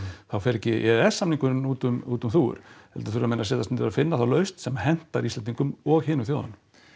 þá fer ekki e e s samningurinn út um út um þúfur heldur þurfa menn þá að setjast niður og finna þá lausn sem hentar Íslendingum og hinum þjóðunum